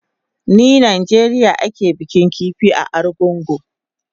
Ni Najeriya ake bikin kifi a Argungu